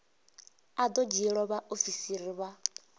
a do dzhielwa vhaofisi vha